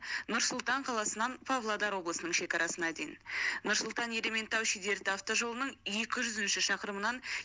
нұр сұлтан қаласынан павлодар облысының шекарасына дейін нұр сұлтан ерейментау шідерті автожолының екі жүзінші шақырымынан